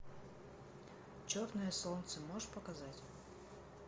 черное солнце можешь показать